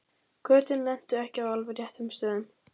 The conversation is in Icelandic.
Götin lentu ekki á alveg réttum stöðum.